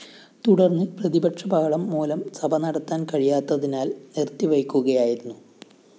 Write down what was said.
തുടര്‍ന്ന് പ്രതിപക്ഷബഹളം മൂലം സഭ നടത്താന്‍ കഴിയാത്തതിനാല്‍ നിര്‍ത്തിവയ്ക്കുകയായിരുന്നു